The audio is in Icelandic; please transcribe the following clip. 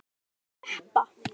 Átt þú þennan jeppa?